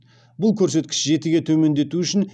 бұл көрсеткіш жетіге төмендету үшін